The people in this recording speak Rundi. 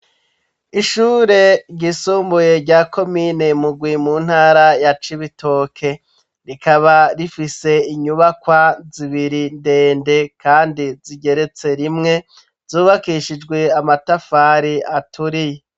Ishure ryisumbuye, rya komine Mugwi, mu ntara ya Cibitoke; rikaba rifise, inyubakwa zibiri, ndende, kandi zigeretse rimwe, zubakishijwe amatafari, aturiye.